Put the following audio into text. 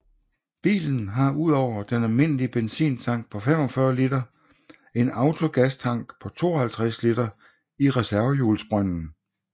Bilen har udover den almindelige benzintank på 45 liter en autogastank på 52 liter i reservehjulsbrønden